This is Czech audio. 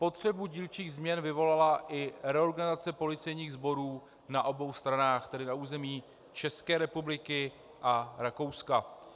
Potřebu dílčích změn vyvolala i reorganizace policejních sborů na obou stranách, tedy na území České republiky a Rakouska.